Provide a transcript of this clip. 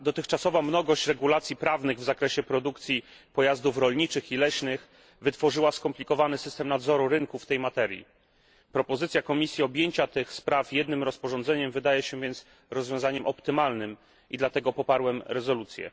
Dotychczasowa mnogość regulacji prawnych w zakresie produkcji pojazdów rolniczych i leśnych wytworzyła skomplikowany system nadzoru rynku w tej materii. Propozycja Komisji objęcia tych spraw jednym rozporządzeniem wydaje się więc rozwiązaniem optymalnym i dlatego poparłem rezolucję.